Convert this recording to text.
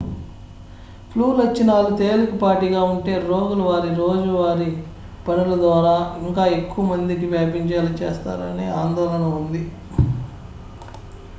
flu లక్షణాలు తేలికపాటిగా ఉంటే రోగులు వారి రోజువారీ పనుల ద్వారా ఇంకా ఎక్కువ మందికి వ్యాపించేలా చేస్తారనే ఆందోళన ఉంది